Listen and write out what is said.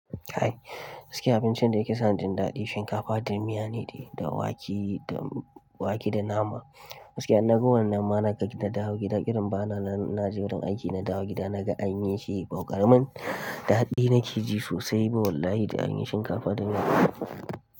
Kai, gaskiya abincin da yake sa ni jin daɗi shinkafa da miya ne da wake wake da nama. Gaskiya in na ga wannan ma na gani na dawo gida kirin bana na je wurin aiki na dawo gida na ga an yi shi ba ƙaramin daɗi na ke ji sosai ba Wallahi da an yi shinkafa da miya.